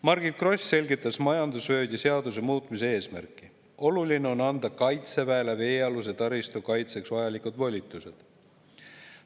Margit Gross selgitas majandusvööndi seaduse muutmise eesmärki: oluline on anda Kaitseväele veealuse taristu kaitseks vajalikud volitused.